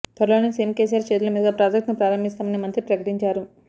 త్వరలోనే సీఎం కేసీఆర్ చేతుల మీదుగా ప్రాజెక్టును ప్రారంభిస్తామని మంత్రి ప్రకటించారు